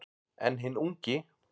En hinn ungi